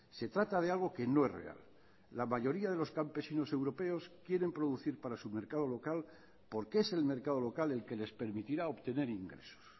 se trata de algo que no es real la mayoría de los campesinos europeos quieren producir para su mercado local porque es el mercado local el que les permitirá obtener ingresos